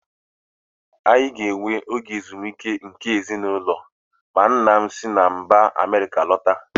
Anyị ga-enwe oge ezumike nke ezinụlọ ma nna m si mba Amerịka lọta.